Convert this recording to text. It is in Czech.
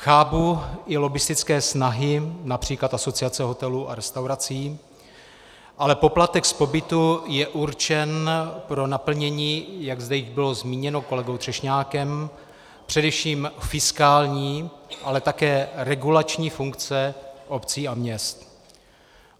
Chápu i lobbistické snahy například Asociace hotelů a restaurací, ale poplatek z pobytu je určen pro naplnění, jak zde již bylo zmíněno kolegou Třešňákem, především fiskální, ale také regulační funkce obcí a měst.